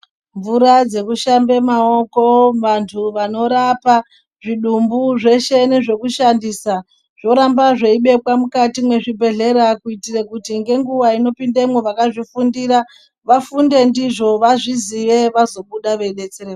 Mvura dzekushambe maoko vantu vanorapa zvidumbu zveshe nezvekudhandisa, zvoramba zveibekwa mukati mezvibhedhleya kuitire kuti ngenguwa inopindemwo vakazvifundira, vafunde ndizvo vazviziye vazobuda veidetsere..